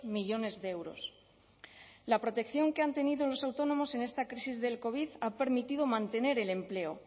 millónes de euros la protección que han tenido los autónomos en esta crisis del covid ha permitido mantener el empleo